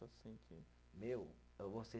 Assim que. Meu, eu vou ser